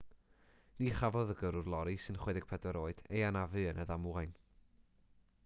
ni chafodd y gyrrwr lori sy'n 64 oed ei anafu yn y ddamwain